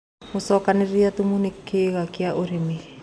Gũcokanĩrĩrĩa thũmũ nĩ kĩĩga kĩa ũrĩmĩ